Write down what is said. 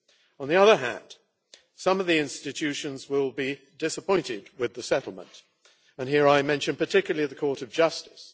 On the other hand, some of the institutions will be disappointed with the settlement, and here I mention particularly the Court of Justice.